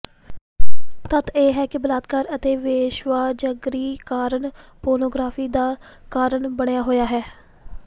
ਤੱਥ ਇਹ ਹੈ ਕਿ ਬਲਾਤਕਾਰ ਅਤੇ ਵੇਸਵਾਜਗਰੀ ਕਾਰਨ ਪੋਰਨੋਗ੍ਰਾਫੀ ਦਾ ਕਾਰਨ ਬਣਿਆ ਹੋਇਆ ਹੈ